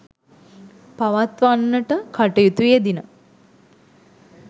පවත්වන්නට කටයුතු යෙදිණ.